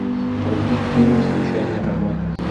вруби фильм случайный роман